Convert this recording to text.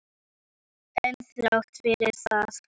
En þrátt fyrir það er ég ekki frjáls.